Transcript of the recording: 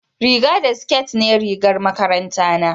riga da siket ne rigar makaranta na